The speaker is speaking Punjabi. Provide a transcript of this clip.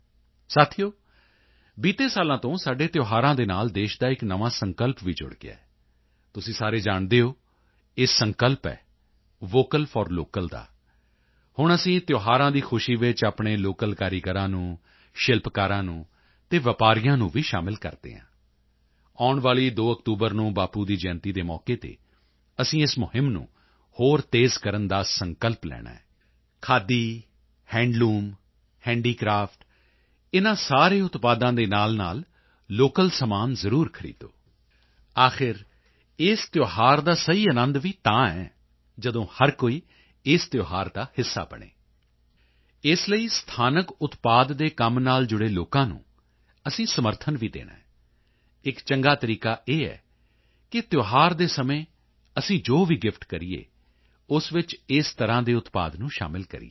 ਸਾਥੀਓ ਬੀਤੇ ਸਾਲਾਂ ਤੋਂ ਸਾਡੇ ਤਿਉਹਾਰਾਂ ਦੇ ਨਾਲ ਦੇਸ਼ ਦਾ ਇੱਕ ਨਵਾਂ ਸੰਕਲਪ ਵੀ ਜੁੜ ਗਿਆ ਹੈ ਤੁਸੀਂ ਸਾਰੇ ਜਾਣਦੇ ਹੋ ਇਹ ਸੰਕਲਪ ਹੈ ਵੋਕਲ ਫੌਰ ਲੋਕਲ ਦਾ ਹੁਣ ਅਸੀਂ ਤਿਉਹਾਰਾਂ ਦੀ ਖੁਸ਼ੀ ਵਿੱਚ ਆਪਣੇ ਲੋਕਲ ਕਾਰੀਗਰਾਂ ਨੂੰ ਸ਼ਿਲਪਕਾਰਾਂ ਨੂੰ ਅਤੇ ਵਪਾਰੀਆਂ ਨੂੰ ਵੀ ਸ਼ਾਮਲ ਕਰਦੇ ਹਾਂ ਆਉਣ ਵਾਲੀ 2 ਅਕਤੂਬਰ ਨੂੰ ਬਾਪੂ ਦੀ ਜਯੰਤੀ ਦੇ ਮੌਕੇ ਤੇ ਅਸੀਂ ਇਸ ਮੁਹਿੰਮ ਨੂੰ ਹੋਰ ਤੇਜ਼ ਕਰਨ ਦਾ ਸੰਕਲਪ ਲੈਣਾ ਹੈ ਖਾਦੀ ਹੈਂਡਲੂਮ ਹੈਂਡੀਕ੍ਰਾਫਟ ਇਨ੍ਹਾਂ ਸਾਰੇ ਉਤਪਾਦਾਂ ਦੇ ਨਾਲਨਾਲ ਲੋਕਲ ਸਮਾਨ ਜ਼ਰੂਰ ਖਰੀਦੋ ਆਖਿਰ ਇਸ ਤਿਉਹਾਰ ਦਾ ਸਹੀ ਅਨੰਦ ਵੀ ਤਦ ਹੈ ਜਦੋਂ ਹਰ ਕੋਈ ਇਸ ਤਿਉਹਾਰ ਦਾ ਹਿੱਸਾ ਬਣੇ ਇਸ ਲਈ ਸਥਾਨਕ ਉਤਪਾਦ ਦੇ ਕੰਮ ਨਾਲ ਜੁੜੇ ਲੋਕਾਂ ਨੂੰ ਅਸੀਂ ਸਮਰਥਨ ਵੀ ਦੇਣਾ ਹੈ ਇੱਕ ਚੰਗਾ ਤਰੀਕਾ ਇਹ ਹੈ ਕਿ ਤਿਉਹਾਰ ਦੇ ਸਮੇਂ ਅਸੀਂ ਜੋ ਵੀ ਗਿਫਟ ਕਰੀਏ ਉਸ ਵਿੱਚ ਇਸ ਤਰ੍ਹਾਂ ਦੇ ਉਤਪਾਦ ਨੂੰ ਸ਼ਾਮਲ ਕਰੀਏ